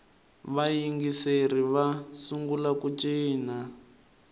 vayingiseri va sungula ku cina